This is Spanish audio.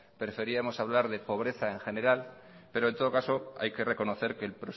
preferíamos hablar de pobreza en general pero en todo caso hay que reconocer que el